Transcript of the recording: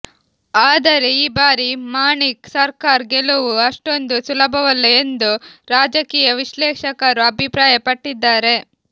ಆದರೆ ಈ ಬಾರಿ ಮಾಣಿಕ್ ಸರ್ಕಾರ್ ಗೆಲುವು ಅಷ್ಟೊಂದು ಸುಲಭವಲ್ಲ ಎಂದು ರಾಜಕೀಯ ವಿಶ್ಲೇಷಕರು ಅಭಿಪ್ರಾಯಪಟ್ಟಿದ್ದಾರೆ